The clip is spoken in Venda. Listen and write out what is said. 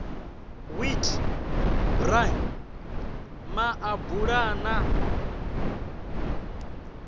wheat bran maḓabula a na